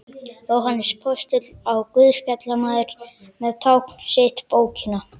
Jóhannes postuli og guðspjallamaður með tákn sitt bókina.